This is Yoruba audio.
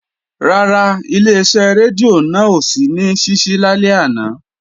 Rárá, Ileṣẹ́ rédíò náà ò sí ní ṣíṣí lálẹ́ àná